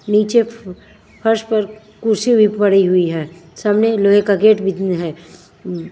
नीचे फ फर्श पर कुर्सी भी पड़ी हुई है सामने लोहे का गेट भी है।